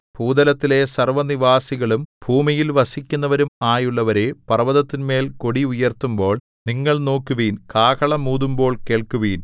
ഭൂതലത്തിലെ സർവ്വനിവാസികളും ഭൂമിയിൽ വസിക്കുന്നവരും ആയുള്ളവരേ പർവ്വതത്തിന്മേൽ കൊടി ഉയർത്തുമ്പോൾ നിങ്ങൾ നോക്കുവിൻ കാഹളം ഊതുമ്പോൾ കേൾക്കുവിൻ